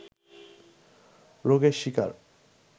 রোগের শিকার